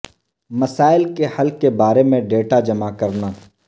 مسائل کے حل کے بارے میں ڈیٹا جمع کرنا